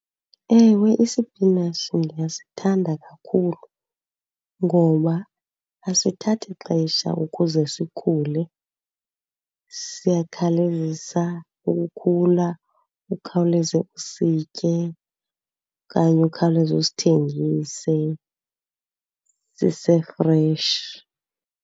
Ewe, isipinatshi ndiyasithanda kakhulu ngoba asithathi xesha ukuze sikhule. Siyakhawulezisa ukukhula, ukhawuleze usitye okanye ukhawuleze usithengise sisefreshi.